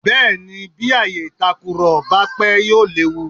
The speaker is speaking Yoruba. Bẹ́ẹ̀ ni, bí ààyè ìtakùrọ̀ bá pé yóò léwu.